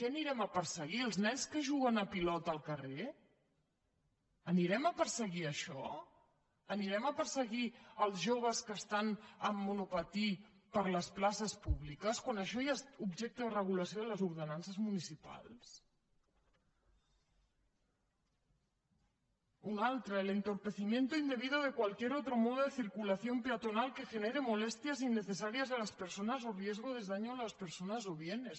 què perseguirem els nens que juguen a pilota al carrer perseguirem això perseguirem els joves que estan amb monopatí per les places públiques quan això ja és objecte de regulació de les ordenances municipals un altre el entorpecimiento indebido de cualquier otro modo de circulación peatonal que genere molestias innecesarias a las personas o riesgo de daño a las personas o bienes